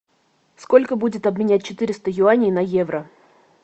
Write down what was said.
сколько будет обменять четыреста юаней на евро